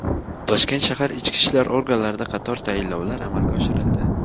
Toshkent shahar ichki ishlar organlarida qator tayinlovlar amalga oshirildi.